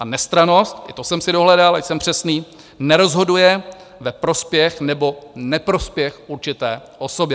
A nestrannost, i to jsem si dohledal, ať jsem přesný - nerozhoduje ve prospěch nebo neprospěch určité osoby.